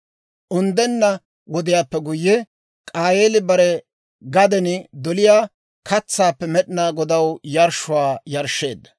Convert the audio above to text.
Unddenna wodiyaappe guyye, K'aayeeli bare gaden doliyaa katsaappe Med'inaa Godaw yarshshuwaa yarshsheedda;